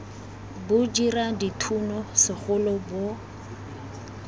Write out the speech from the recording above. bo dira dithuno segolo bo